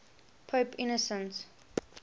pope innocent